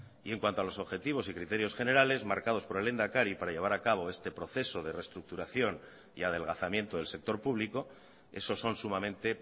y en cuanto a los objetivos y criterios generales marcados por el lehendakari para llevar a cabo este proceso de reestructuración y adelgazamiento del sector público esos son sumamente